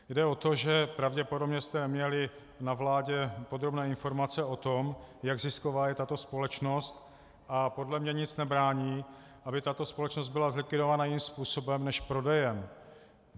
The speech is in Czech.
Jde o to, že pravděpodobně jste měli na vládě podrobné informace o tom, jak zisková je tato společnost, a podle mě nic nebrání, aby tato společnost byla zlikvidována jiným způsobem než prodejem.